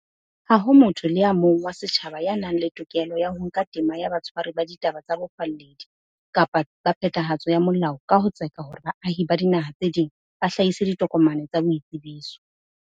Ha ho motho le a mong wa setjhaba ya nang le tokelo ya ho nka tema ya batshwari ba ditaba tsa bofalledi kapa ba phethahatso ya molao ka ho tseka hore baahi ba dinaha tse ding ba hlahise ditokomane tsa boitsebiso.